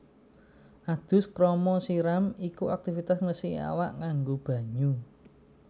Adus krama siram iku aktivitas ngresiki awak nganggo banyu